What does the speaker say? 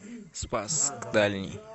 спасск дальний